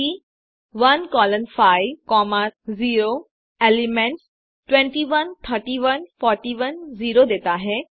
सी 1 colon 5 0 elements 21 31 41 0 देता है